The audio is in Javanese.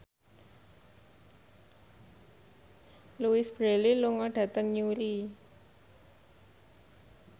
Louise Brealey lunga dhateng Newry